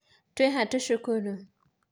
Twĩha tũcũkũrũ?